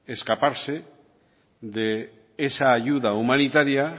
escaparse de esa ayuda humanitaria